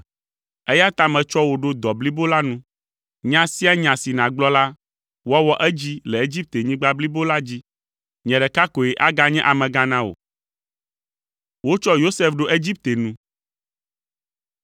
eya ta metsɔ wò ɖo dɔ blibo la nu. Nya sia nya si nàgblɔ la, woawɔ edzi le Egiptenyigba blibo la dzi. Nye ɖeka koe aganye amegã na wò.”